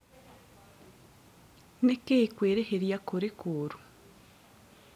Nĩkĩĩ kwĩrĩhĩria kũrĩ kũũrũ?